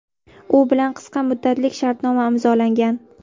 U bilan qisqa muddatlik shartnoma imzolangan.